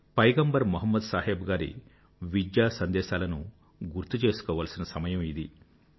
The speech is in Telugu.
పైగంబర్ మొహమ్మద్ సాహెబ్ గారి విద్య సందేశాలను గుర్తు చేసుకోవాల్సిన సమయం ఇది